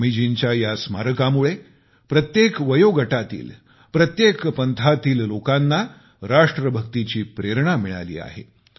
स्वामीजींच्या या स्मारकामुळे प्रत्येक पंथातील प्रत्येक वयोगटातील लोकांना राष्ट्रभक्तीची प्रेरणा मिळाली आहे